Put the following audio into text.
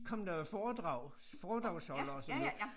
Kom der jo foredrags foredragsholdere og så videre